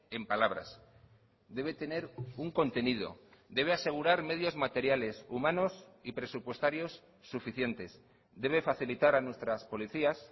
en palabras debe tener un contenido debe asegurar medios materiales humanos y presupuestarios suficientes debe facilitar a nuestras policías